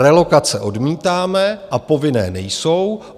Relokace odmítáme a povinné nejsou.